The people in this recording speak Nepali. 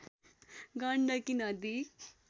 गण्डकी नदी